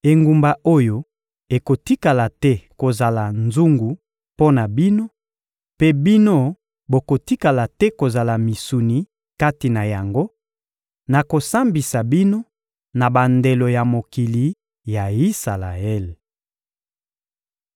Engumba oyo ekotikala te kozala nzungu mpo na bino, mpe bino bokotikala te kozala misuni kati na yango; nakosambisa bino na bandelo ya mokili ya Isalaele.